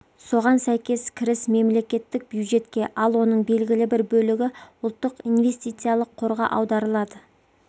соған сәйкес кіріс мемлекеттік бюджетке ал оның белгілі бір бөлігі ұлттық инвестициялық қорға аударылады